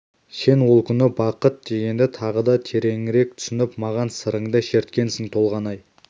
сен ол күні бақыт дегенді тағы да тереңірек түсініп маған сырыңды шерткенсің толғанай